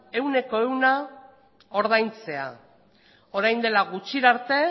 ehuna ordaintzea orain dela gutxi arte